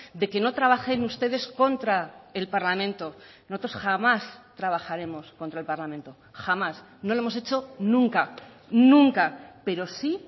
de que no trabajen ustedes contra el parlamento nosotros jamás trabajaremos contra el parlamento jamás no lo hemos hecho nunca nunca pero sí